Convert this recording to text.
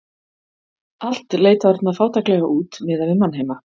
Allt leit þarna fátæklega út miðað við mannheima.